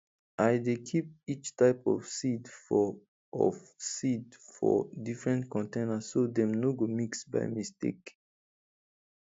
i dey keep each type of seed for of seed for different container so dem no go mix by mistake